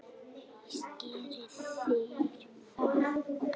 Víst gera þeir það!